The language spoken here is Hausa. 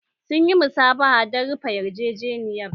Sun yi musabaha don rufe yarjejeniyar.